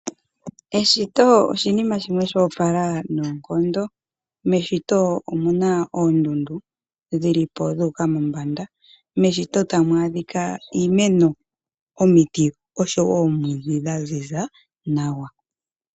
Eshito oshinima shimwe sho opala noonkondo. Meshito omu na oondundu dhi li po dhu uka mombanda. Meshito tamu adhika iimeno, omiti noshowo oomwiidhi dha ziza nawa.